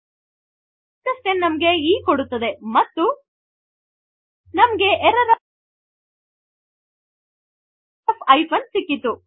s 10 ನಮಗೆ e ಕೊಡುತ್ತದೆ ಮತ್ತು ನಮಗೆ ಎರ್ರರ್ ಒಎಫ್ ಹೈಫೆನ್ ಸಿಕ್ಕಿತು